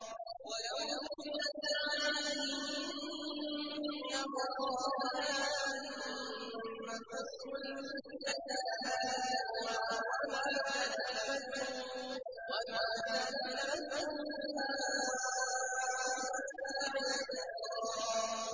وَلَوْ دُخِلَتْ عَلَيْهِم مِّنْ أَقْطَارِهَا ثُمَّ سُئِلُوا الْفِتْنَةَ لَآتَوْهَا وَمَا تَلَبَّثُوا بِهَا إِلَّا يَسِيرًا